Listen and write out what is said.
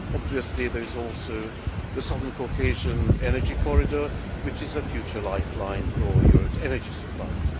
Obviously, there is also the Southern Caucasian energy corridor, which is a future lifeline for Europe's energy supplies.